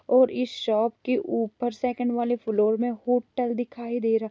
और इस शॉप के ऊपर सेकंड वाले फ्लोर में होटल दिखाई दे रहा--